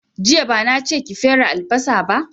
Jiya bana che ki fere albasa ba